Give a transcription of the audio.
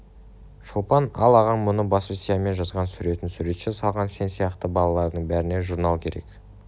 шолпан ал ағаң мұны баста сиямен жазған суретін суретші салған сен сияқты балалардың бәріне журнал керек